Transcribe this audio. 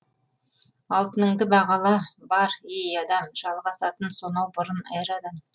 алтыныңды бағала бар ей адам жалғасатын сонау бұрын эрадан